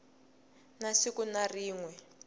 na siku na rin we